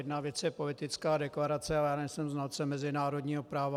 Jedna věc je politická deklarace, a já nejsem znalcem mezinárodního práva.